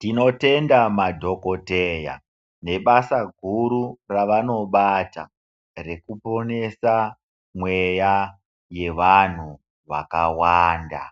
Tinotenda madhokoteya, nebasa guru ravanobata rekiponesa mweya yevanhu vakawanda.